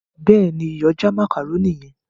béèni iyọ̀ já macaroni yen.